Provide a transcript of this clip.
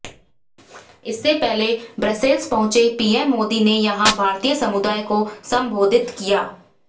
इससे पहले ब्रसेल्स पहुंचे पीएम मोदी ने यहां भारतीय समुदाय को संबोधित किया